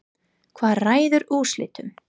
Hvað ræður úrslitum?